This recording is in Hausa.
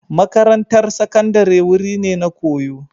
Makarantar Sakandare wuri ne na koyo